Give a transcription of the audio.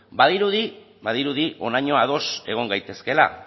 badirudi badirudi honaino ados egon gaitezkela